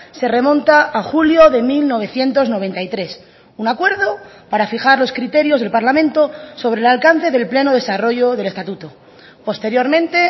se remonta a julio de mil novecientos noventa y tres un acuerdo para fijar los criterios del parlamento sobre el alcance del pleno desarrollo del estatuto posteriormente